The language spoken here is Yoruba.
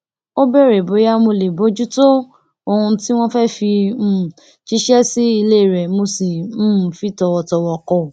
ó béèrè bóyá mo lè bójútó ohun tí wọn fẹ fi um jíṣẹ sí ilé rẹ mo sì um fi tòwòtòwò kò